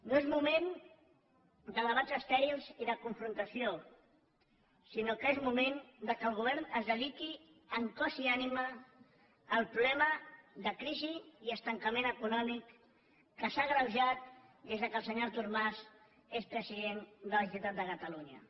no és moment de debats estèrils i de confrontació sinó que és moment que el govern es dediqui en cos i ànima al problema de crisi i estancament econòmic que s’ha agreujat des que el senyor artur mas és president de la generalitat de catalunya